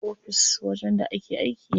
Ofis wajen da ake aiki ne.